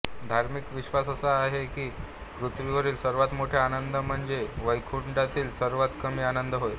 धार्मिक विश्वास असा आहे की पृथ्वीवरील सर्वात मोठे आनंद म्हणजे वैकुंठातील सर्वात कमी आनंद होय